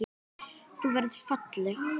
Þú verður falleg.